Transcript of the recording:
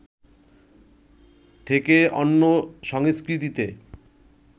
থেকে অন্য সংস্কৃতিতে